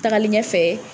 Tagalen ɲɛfɛ